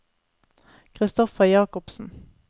Christopher Jakobsen